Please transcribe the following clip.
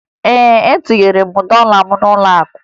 Ee, etinyere m dọla m n'ụlọakụ